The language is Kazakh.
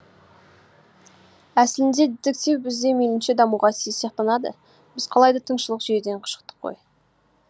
әсілінде дитектив бізде мейлінше дамуға тиіс сияқтанады біз қалайда тыңшылық жүйеден шықтық қой